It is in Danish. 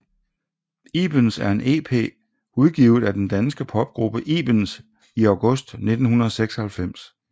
ibens er en ep udgivet af den danske popgruppe ibens i august 1996